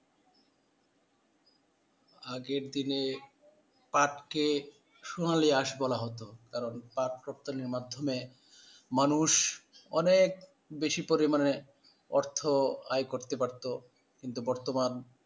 আগের দিনে পাটকে সোনালিয়াস বলা হতো কারন পাট উৎপাদনের মাধ্যমে মানুষ অনেক বেশি পরিমাণে অর্থ আয় করতে পারতো কিন্তু বর্তমান